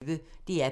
DR P1